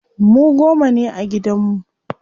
Mu goma ne a gidan mu.